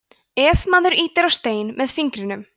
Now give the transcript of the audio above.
ef maður ýtir á stein með fingrinum